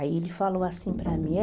Aí ele falou assim para mim, é...